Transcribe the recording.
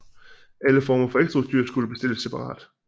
Alle former for ekstraudstyr skulle bestilles separat